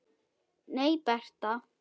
Nei, Bertha.